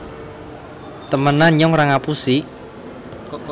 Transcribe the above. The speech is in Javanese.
temenan nyong ra ngapusi